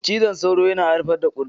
Cizon sauro yana haifar da kurji